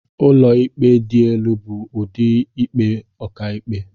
Ụlọikpe dị elu bụ ụdị ikpe ọkàikpe..